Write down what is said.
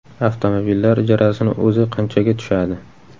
Avtomobillar ijarasini o‘zi qanchaga tushadi.